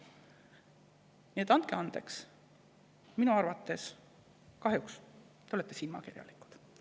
Nii et andke andeks, minu arvates te kahjuks olete silmakirjalikud.